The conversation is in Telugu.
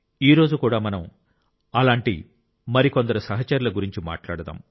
ఈ రోజు కూడా మనం అలాంటి మరికొందరు సహచరుల గురించి మాట్లాడుతాం